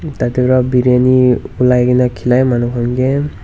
tatae pra briyani olai kaena khilai manu han kae.